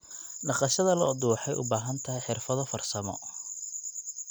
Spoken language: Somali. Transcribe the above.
Dhaqashada lo'du waxay u baahan tahay xirfado farsamo.